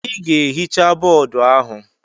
Ị ga-ehicha boodu ahụ!